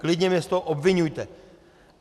Klidně mě z toho obviňujte.